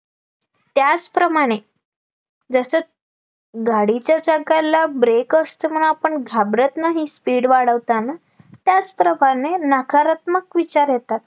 त्याचप्रमाणे जसं गाडीच्या चाकाला brake असतो म्हणून आपण घाबरत नाही speed वाढवताना त्याच प्रमाणे नकारात्मक विचार येतात